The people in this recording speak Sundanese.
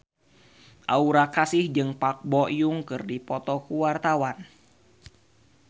Aura Kasih jeung Park Bo Yung keur dipoto ku wartawan